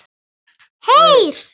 Heyr!